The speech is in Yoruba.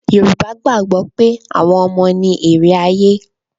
Yorùbá gbàgbọ́ pé àwọn ọmọ ni èrè ayé.